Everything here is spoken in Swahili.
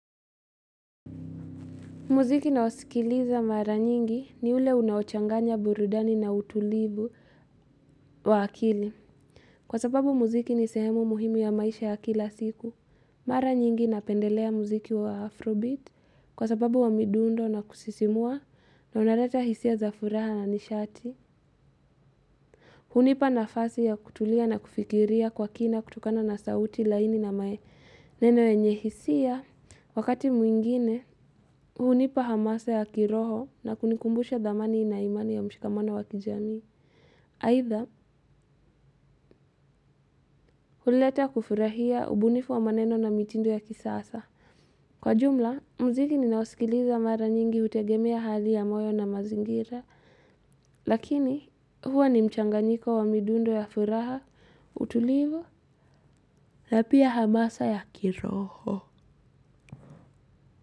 Muziki nayosikiliza mara nyingi ni ule unaochanganya burudani na utulivu wa akili. Kwa sababu muziki ni sehemu muhimu ya maisha ya kila siku. Mara nyingi napendelea muziki wa Afrobeat kwa sababu wa midundo na kusisimua na unaleta hisia za furaha na nishati. Hunipa nafasi ya kutulia na kufikiria kwa kina kutokana na sauti laini na maneno yenye hisia. Wakati mwingine, hunipa hamasa ya kiroho na kunikumbusha dhamani na imani ya mshikamana wa kijamii. Haitha, huleta kufurahia ubunifu wa maneno na mitindo ya kisasa. Kwa jumla, mziki ninaosikiliza mara nyingi hutegemea hali ya moyo na mazingira. Lakini, huwa ni mchanganyiko wa midundo ya furaha, utulivu, na pia hamasa ya kiroho.